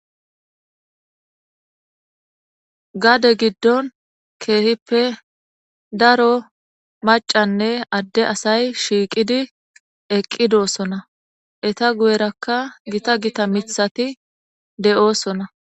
gade giddon keehippe daro macanne adde asay shiiqidi eqqidoosona eta guyerakka gita gita mithati de7oosona